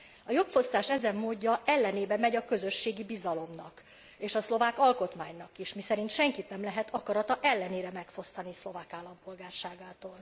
A jogfosztás ezen módja ellenébe megy a közösségi bizalomnak, és a szlovák alkotmánynak is, miszerint senkit nem lehet akarata ellenére megfosztani szlovák állampolgárságától.